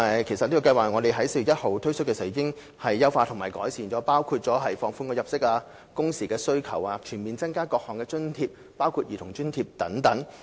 其實，我們在今年4月1日推出該計劃時已經優化和改善，包括放寬入息及工時要求、全面增加各項津貼額，包括兒童津貼等。